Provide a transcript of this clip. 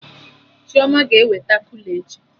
Chioma ga-eweta kula echi